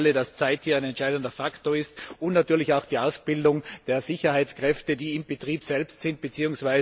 Wir wissen alle, dass Zeit hier ein entscheidender Faktor ist, und natürlich auch die Ausbildung der Sicherheitskräfte, die im Betrieb selbst sind bzw.